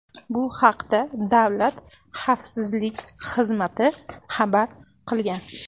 Bu haqda Davlat xavfsizlik xizmati xabar qilgan.